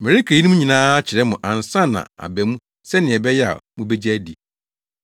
“Mereka eyinom nyinaa akyerɛ mo ansa na aba mu sɛnea ɛbɛyɛ a mubegye adi.